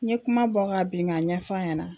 N ye kuma bɔ ka bin k'a ɲɛ f'a ɲɛna.